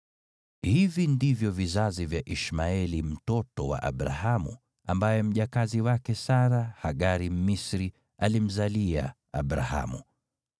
Hivi ndivyo vizazi vya Ishmaeli mtoto wa Abrahamu, ambaye mjakazi wake Sara, Hagari Mmisri, alimzalia Abrahamu.